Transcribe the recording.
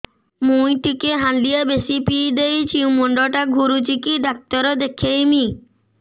ମୁଇ ଟିକେ ହାଣ୍ଡିଆ ବେଶି ପିଇ ଦେଇଛି ମୁଣ୍ଡ ଟା ଘୁରୁଚି କି ଡାକ୍ତର ଦେଖେଇମି